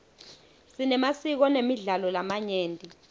sinemasiko nemidlalo lamanyenti